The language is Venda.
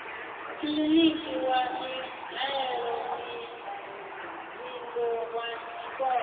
kiḽiniki wa mihaelomuvhigo wa tshikolo